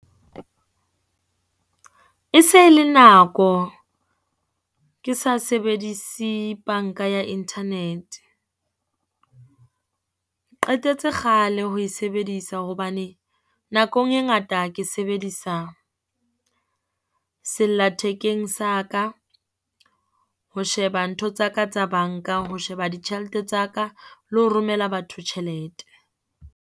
E se le nako ke sa sebedise banka ya internet. Qetetse kgale ho e sebedisa hobane nakong e ngata ke sebedisa sella thekeng sa ka, ho sheba ntho tsa ka tsa banka. Ho sheba ditjhelete tsa ka le ho romela batho tjhelete.